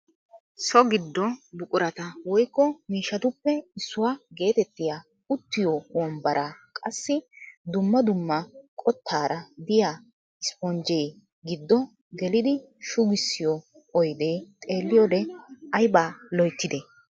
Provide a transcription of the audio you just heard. So giddo buqurata woykko miishshatuppe issuwaa getettiyaa uttiyoo wombaraa qassi dumma dumma qottaara de'iyaa isponjjee giddo geelidi shugusiyoo oydee xeelliyoode ayba loyttidee!